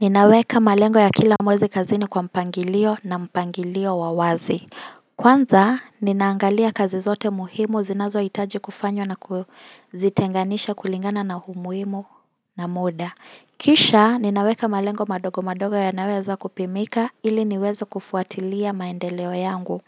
Ninaweka malengo ya kila mwezi kazini kwa mpangilio na mpangilio wawazi. Kwanza, ninaangalia kazi zote muhimu zinazo hitaji kufanywa na kuzitenganisha kulingana na humuimu na muda. Kisha, ninaweka malengo madogo madogo ya nayoweza kupimika ili niweze kufuatilia maendeleo yangu.